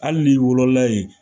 Hali ni wolola yen